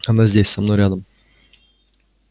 она здесь со мной рядом